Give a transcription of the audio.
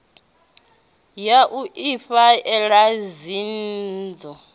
ya u ifha ela dzinnḓu